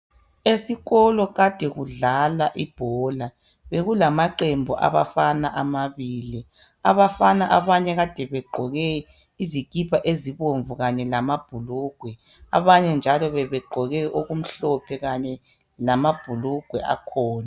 Esikolo kade kudlalwa ibhola. Bekulamaqembu abafana amabili. Abafana abanye kade begqoke izikipa ezibomvu kanye lamabhulugwe, abanye njalo bebegqoke okumhlophe kanye lamabhulugwe akhona.